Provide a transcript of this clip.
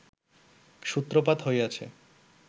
সূত্রপাত হইয়াছে